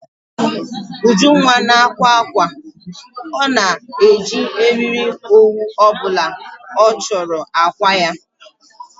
Ujunwa na-akwa ákwà. Ọ na eji eriri owu obula ọ chọrọ akwa ya